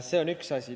See on üks asi.